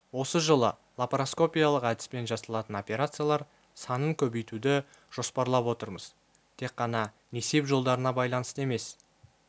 осы жылы лапароскопиялық әдіспен жасалатын операциялар санын көбейтуді жоспарлап отырмыз тек қана несеп жолдарына байланысты емес